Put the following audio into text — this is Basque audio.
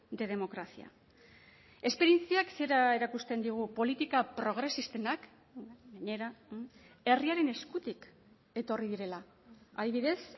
de democracia esperientziak zera erakusten digu politika progresistenak gainera herriaren eskutik etorri direla adibidez